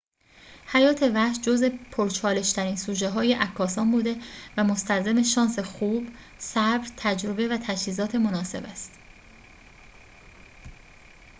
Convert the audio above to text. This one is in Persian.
حیات وحش جزء پرچالش‌ترین سوژه‌های عکاسان بوده و مستلزم شانس خوب صبر تجربه و تجهیزات مناسب است